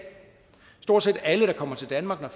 stort set alle der kommer til danmark og